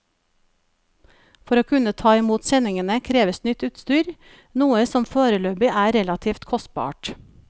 For å kunne ta imot sendingene kreves nytt utstyr, noe som foreløpig er relativt kostbart.